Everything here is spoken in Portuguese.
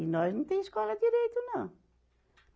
E nós não tem escola direito, não.